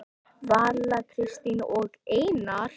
Vala, Katrín og Einar.